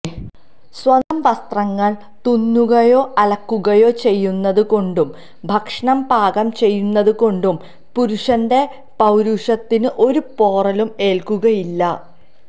സ്വന്തം വസ്ത്രങ്ങൾ തുന്നുകയോ അലക്കുകയോ ചെയ്യുന്നത് കൊണ്ടും ഭക്ഷണം പാകം ചെയ്യുന്നതുകൊണ്ടും പുരുഷന്റെ പൌരുഷത്തിന് ഒരു പോറലും ഏൽക്കുകയില്ല